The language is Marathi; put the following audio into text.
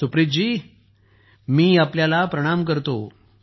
सुप्रीत जी मी आपल्याला प्रणाम करतो